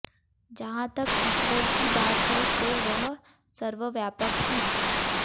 जहाँ तक ईश्वर की बात है तो वह सर्वव्यापक है